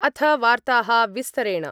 अथ वार्ताः विस्तरेण